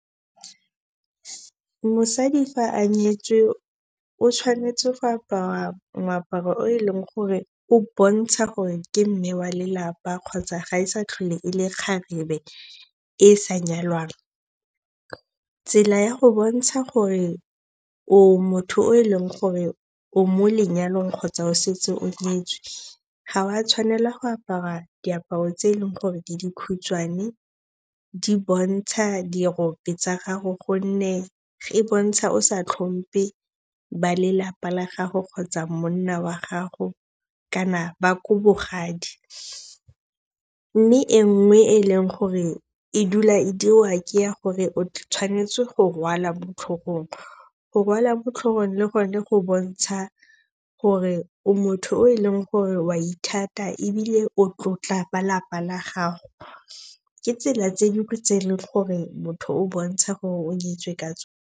Mosadi fa a nyetswe o tshwanetse go apara moaparo o eleng gore o bontsha gore ke mme wa lelapa kgotsa ga e sa tlhole e le kgarebe e sa nyalwang. Tsela ya go bontsha gore o motho o e leng gore o mo lenyalong kgotsa o setse o nyetswe, ga wa tshwanela go apara diaparo tse eleng gore di dikhutshwane, di bontsha dirope tsa gago gonne e bontsha o sa tlhompe ba lelapa la gago kgotsa monna wa gago kana ba ko bogadi. Mme e nngwe e e leng gore e dula e diriwa ke ya gore o tshwanetse go rwala mo tlhogong. Go rwala motlhogong le gone go bontsha gore motho o e leng gore o a ithata ebile o tlotla ba lapa la gago. Ke tsela tse dingwe tse e leng gore motho o bontsha gore o nyetswe ka .